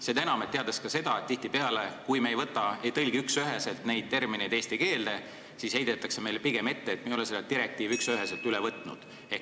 Seda enam, et me teame ka seda, et tihtipeale on nii, et kui me ei tõlgi üksüheselt neid termineid eesti keelde, siis heidetakse meile ette, et me ei ole direktiivi üksüheselt üle võtnud.